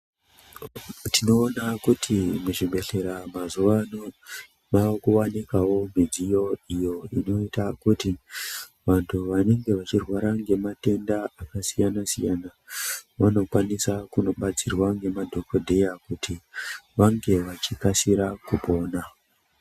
Tinoona kuti muzvibhehleya mazuwa ano wakuwanikwawo midziyo iyo inoita kuti vantu vanenge vachirwara nematenda akasiyana siyana vanokwanisa kunobatsirwa nemadhokhodheya kuti vange vachikasira kupona.